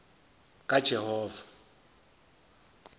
kajehova